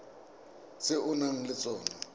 tse o nang le tsona